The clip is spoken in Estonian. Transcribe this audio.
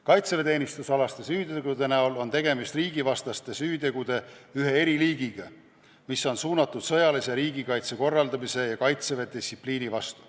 Kaitseväeteenistusalaste süütegude näol on tegemist riigivastaste süütegude ühe eriliigiga, mis on suunatud sõjalise riigikaitse korraldamise ja kaitseväelise distsipliini vastu.